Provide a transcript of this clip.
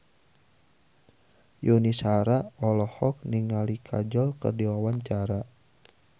Yuni Shara olohok ningali Kajol keur diwawancara